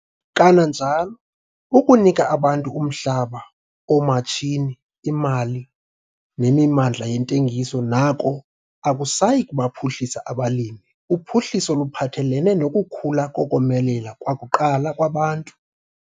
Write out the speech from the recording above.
Kananjalo, ukunika abantu umhlaba, oomatshini, imali nemimandla yentengiso nako akusayi kubaphuhlisa abalimi - uphuhliso luphathelene nokukhula kokomelela kwakuqala kwabantu.